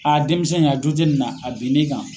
Aa denmisɛnw a joo tɛ nin na a bin ni kan.